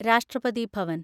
രാഷ്ട്രപതി ഭവൻ